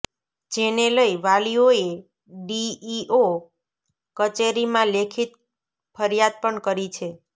જેને લઈ વાલીઓએ ડીઈઓ કચેરીમાં લેખિત ફરિયાદ પણ કરી છે